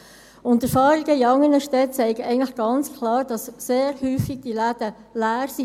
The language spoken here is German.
Und die Erfahrungen in anderen Städten zeigen eigentlich ganz klar, dass die Läden sehr häufig leer sind.